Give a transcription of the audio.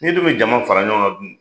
N'i dun bɛ jama fara ɲɔgɔn kan dun?